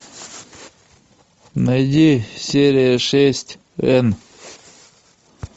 найди серия шесть энн